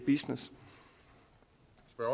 jeg